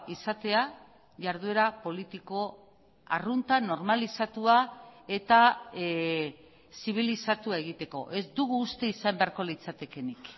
izatea jarduera politiko arrunta normalizatua eta zibilizatua egiteko ez dugu uste izan beharko litzatekeenik